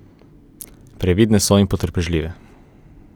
Previdne so in potrpežljive.